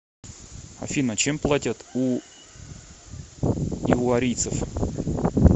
афина чем платят у ивуарийцев